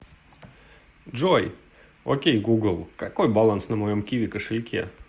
джой окей гугл какой баланс на моем киви кошельке